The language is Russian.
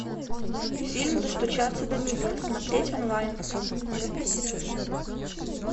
фильм достучаться до небес смотреть онлайн